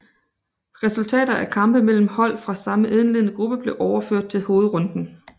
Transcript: Resultater af kampe mellem hold fra samme indledende gruppe blev overført til hovedrunden